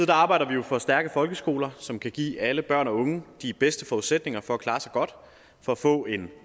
arbejder vi jo for stærke folkeskoler som kan give alle børn og unge de bedste forudsætninger for at klare sig godt og få en